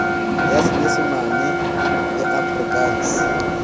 ya senyesemane le ya afrikanse